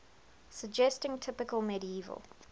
suggesting typical medieval